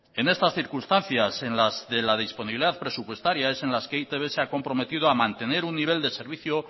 en estas circunstancias de la disponibilidad presupuestaria es en las que e i te be se ha comprometido ha mantener un nivel de servicio